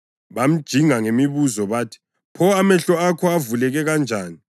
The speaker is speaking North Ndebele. Bamjinga ngemibuzo bathi, “Pho amehlo akho avuleke kanjani?”